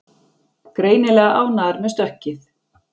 Greinilega ánægðar með stökkið